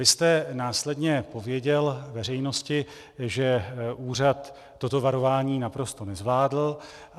Vy jste následně odpověděl veřejnosti, že úřad toto varování naprosto nezvládl.